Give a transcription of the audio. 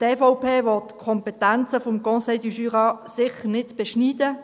Die EVP will die Kompetenzen des CJB sicher nicht beschneiden.